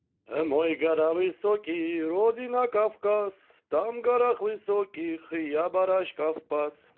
мой гора высокий родина кавказ там в горах высоких я барашков пас